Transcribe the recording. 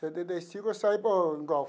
Setenta e cinco eu saí para o.